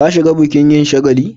Ka shiga bukin yin shagali?